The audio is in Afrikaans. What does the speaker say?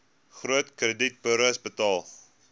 groot kredietburos betaal